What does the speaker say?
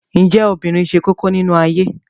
Ǹjẹ́ obìnrin ṣe kókó nínú ayé?